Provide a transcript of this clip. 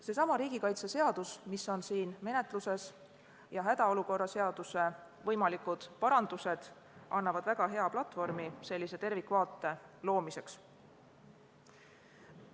Seesama riigikaitse seadus, mis on siin menetluses, ja hädaolukorra seaduse võimalikud parandused annavad väga hea platvormi sellise tervikvaate loomiseks.